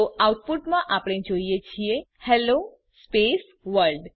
તો આઉટપુટમાં આપણે જોઈએ છીએ હેલ્લો સ્પેસ વર્લ્ડ